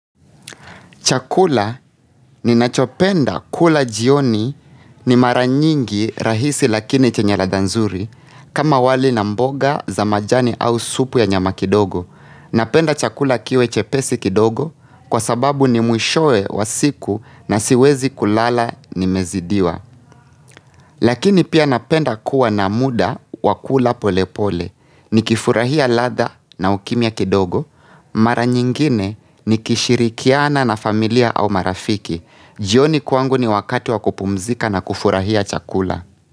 Chakula ninachopenda kula jioni ni mara nyingi rahisi lakini chenye ladha nzuri kama wali na mboga za majani au supu ya nyama kidogo napenda chakula kiwe chepesi kidogo kwa sababu ni mwishoe wa siku na siwezi kulala nimezidiwa lakini pia napenda kuwa na muda wa kula pole pole nikifurahia ladha na ukimya kidogo mara nyingine nikishirikiana na familia au marafiki jioni kwangu ni wakati wa kupumzika na kufurahia chakula.